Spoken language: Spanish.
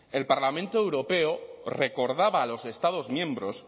el parlamento europeo recordaba a los estados miembros